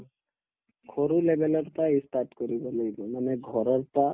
সৰু level ৰ পাই ই start কৰিব লাগিব মানে ঘৰৰ